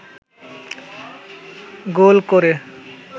গোল করে